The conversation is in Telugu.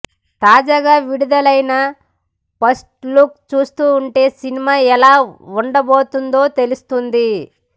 తాజాగా విడుదలైన ఫస్ట్ లుక్ చూస్తుంటే సినిమా ఎలా ఉండ బోతుందో తెలుస్తోంది